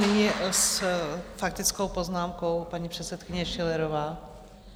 Nyní s faktickou poznámkou paní předsedkyně Schillerová.